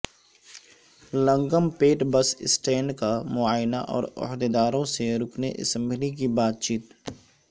لنگم پیٹ bus stand کا معائنہ اور عہدیداروں سے رکن اسمبلی کی بات چیت